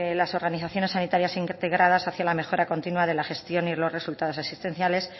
las organizaciones sanitarias integradas hacia la mejora continua de la gestión y los resultados existenciales